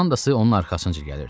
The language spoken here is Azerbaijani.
Komandası onun arxasınca gəlirdi.